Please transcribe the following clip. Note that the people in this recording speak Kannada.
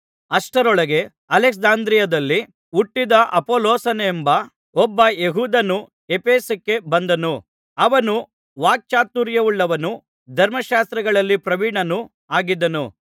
ಅಷ್ಟರೊಳಗೆ ಅಲೆಕ್ಸಾಂದ್ರಿಯದಲ್ಲಿ ಹುಟ್ಟಿದ ಅಪೊಲ್ಲೋಸನೆಂಬ ಒಬ್ಬ ಯೆಹೂದ್ಯನು ಎಫೆಸಕ್ಕೆ ಬಂದನು ಅವನು ವಾಕ್ಚಾತುರ್ಯವುಳ್ಳವನೂ ಧರ್ಮಶಾಸ್ತ್ರಗಳಲ್ಲಿ ಪ್ರವೀಣನೂ ಆಗಿದ್ದನು